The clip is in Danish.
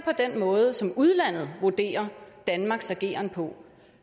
den måde som udlandet vurderer danmarks ageren på